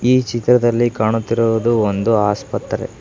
ಈ ಚಿತ್ರದಲ್ಲಿ ಕಾಣುತ್ತಿರುವುದು ಒಂದು ಆಸ್ಪತ್ರೆ.